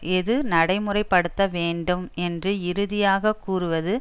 எது நடைமுறை படுத்த வேண்டும் என்று இறுதியாக கூறுவது